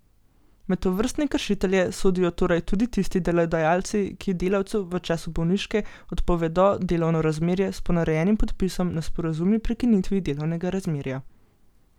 Med tovrstne kršitelje sodijo torej tudi tisti delodajalci, ki delavcu v času bolniške odpovedo delovno razmerje s ponarejenim podpisom na sporazumni prekinitvi delovnega razmerja.